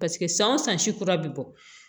Paseke san o san si kura bɛ bɔ